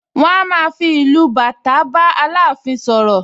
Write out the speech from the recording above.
Wọ́n a máa fi ìlù bàtà bá Aláàfin sọ̀rọ̀